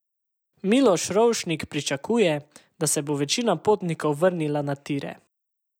Miloš Rovšnik pričakuje, da se bo večina potnikov vrnila na tire.